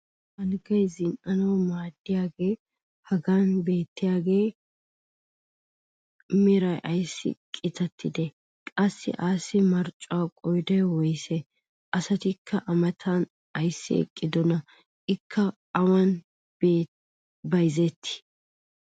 alggay zin'anawu maaddiyagee hagan beettiyaagaassi meray ayssi qitattidee? qassi assi marccuwa qooday woyssee? asatikka a matan ayssi eqqidonaa? ikka awan bayzzetii?